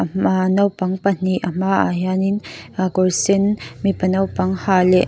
hma ahh naupang pahnih a hma ah hian in a kawr sen mipa naupang ha leh--